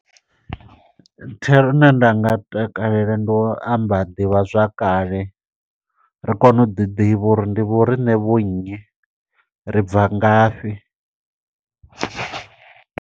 Thero ine nda nga takalela, ndi u amba ḓivhazwakale. Ri kone u ḓi ḓivha uri ndi vho riṋe vho nnyi, ri bva ngafhi?